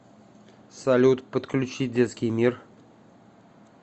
салют подключи детский мир